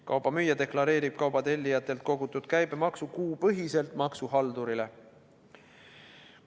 Kauba müüja deklareerib kauba tellijatelt kogutud käibemaksu kuupõhiselt maksuhaldurile.